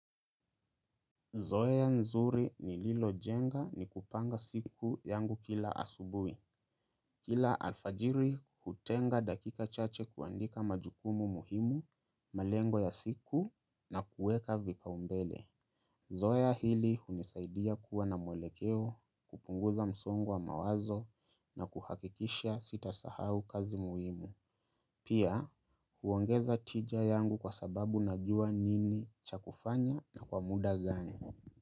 Zoea nzuri nililo jenga ni kupanga siku yangu kila asubui. Kila alfajiri hutenga dakika chache kuandika majukumu muhimu, malengo ya siku na kuweka vipaumbele. Zoea hili hunisaidia kuwa na mwelekeo, kupunguza msongo wa mawazo na kuhakikisha sitasahau kazi muhimu. Pia huongeza tija yangu kwa sababu najua nini cha kufanya na kwa muda gani.